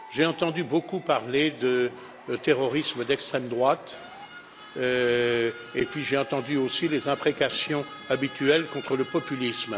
J'ai entendu beaucoup parler de terrorisme d'extrême droite, et puis j'ai entendu aussi les imprécations habituelles contre le populisme.